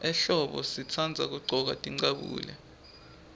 ehlombo sitandza kuggcoka tincabule